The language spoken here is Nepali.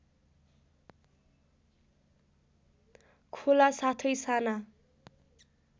खोला साथै साना